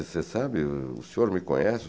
você sabe? O senhor me conhece?